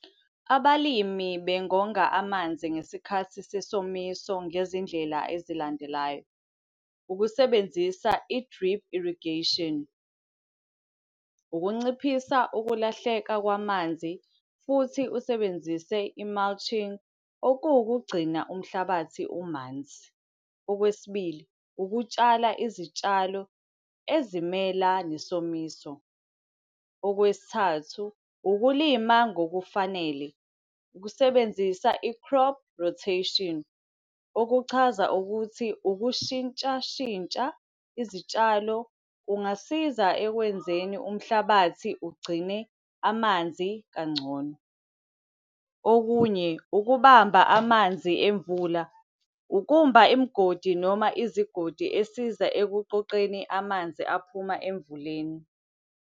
Abalimi bengonga amanzi ngesikhathi sesomiso ngezindlela ezilandelayo. Ukusebenzisa i-drip irrigation, ukunciphisa ukulahleka kwamanzi futhi usebenzise i-mulching, okuwukugcina umhlabathi umanzi. Okwesibili, ukutshala izitshalo ezimela nesomiso. Okwesithathu, ukulima ngokufanele, ukusebenzisa i-crop rotation, okuchaza ukuthi ukushintsha shintsha izitshalo kungasiza ekwenzeni umhlabathi ugcine amanzi kangcono. Okunye, ukubamba amanzi emvula, ukumba imgodi noma izigodi esiza ekuqoqeni amanzi aphuma emvuleni.